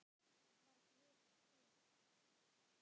Var Guð til?